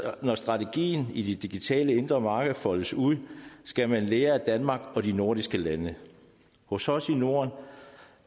når strategien i det digitale indre marked foldes ud skal man lære af danmark og de andre nordiske lande hos os i norden